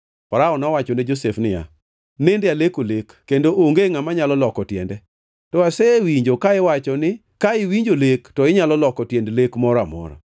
Farao nowacho ne Josef niya, “Nende aleko lek, kendo onge ngʼama nyalo loko tiende. To asewinjo ka iwacho ni ka iwinjo lek to inyalo loko tiend lek moro amora.”